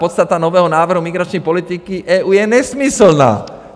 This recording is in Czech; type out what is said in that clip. Podstata nového návrhu migrační politiky EU je nesmyslná.